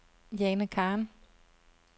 Jane Khan